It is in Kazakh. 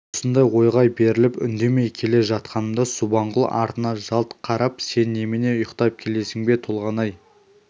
осындай ойға беріліп үндемей келе жатқанымда субанқұл артына жалт қарап сен немене ұйықтап келесің бе толғанай